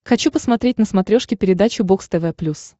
хочу посмотреть на смотрешке передачу бокс тв плюс